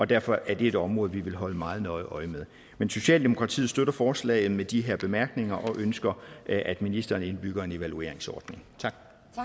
derfor er det et område vi vil holde meget nøje øje med men socialdemokratiet støtter forslaget med de her bemærkninger og vi ønsker at ministeren indbygger en evalueringsordning tak